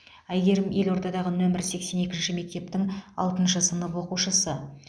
әйгерім елордадағы нөмір сексен екінші мектептің алтыншы сынып оқушысы